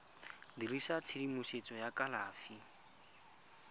dirisa tshedimosetso ya tsa kalafi